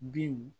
Binw